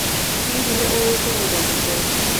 Hihi nĩ ũĩ kũrũga mũkwa?